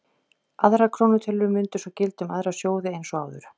Aðrar krónutölur mundu svo gilda um aðra sjóði eins og áður.